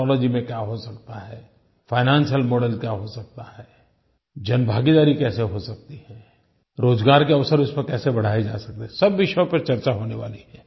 technology में क्या हो सकता है फाइनेंशियल मॉडेल क्या हो सकता है जनभागीदारी कैसे हो सकती है रोज़गार के अवसर इसमें कैसे बढ़ाये जा सकते हैं सब विषयों पर चर्चा होने वाली है